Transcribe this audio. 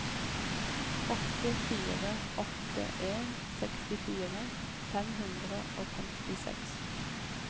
åtte fire åtte en sekstifire fem hundre og femtiseks